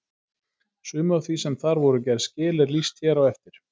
Sumu af því sem þar voru gerð skil er lýst hér á eftir.